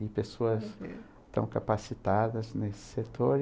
E pessoas tão capacitadas nesse setor.